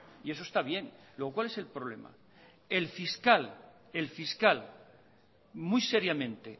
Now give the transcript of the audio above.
y eso está bien luego cuál es el problema el fiscal muy seriamente